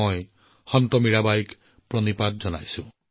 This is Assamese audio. মই সন্ত মীৰাবাইক প্ৰণাম জনাইছো